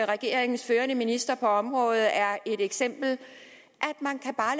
regeringens førende minister på området er nævnt et eksempel